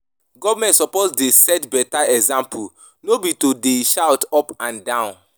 Government suppose dey set beta example, no be to dey shout up and down.